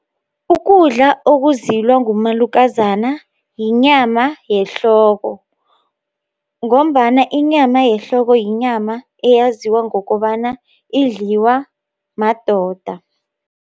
Ukudla okuzilwa ngumalukazana, yinyama yehloko, ngombana inyama yehloko, yinyama eyaziwa ngokobana idliwa madoda.